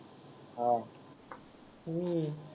हा हम्म